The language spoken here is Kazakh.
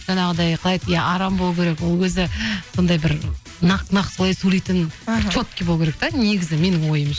жаңағыдай қалай еді иә арам болу керек ол өзі сондай бір нақ нақ солай сөйлейтін бір болу керек те негізі менің